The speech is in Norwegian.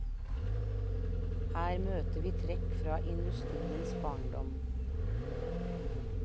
Her møter vi trekk fra industriens barndom.